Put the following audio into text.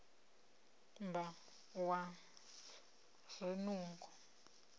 na u zwimba ha zwinungo